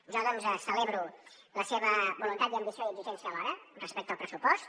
jo celebro la seva voluntat i ambició i exigència alhora respecte al pressupost